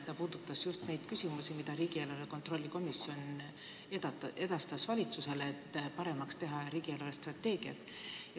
Tema puudutas just neid küsimusi, mida riigieelarve kontrolli komisjon edastas valitsusele, et riigi eelarvestrateegiat paremaks teha.